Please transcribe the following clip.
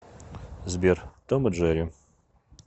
сбер том и джерри